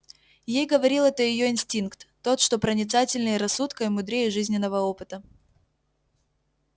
ей говорил это её инстинкт тот что проницательнее рассудка и мудрее жизненного опыта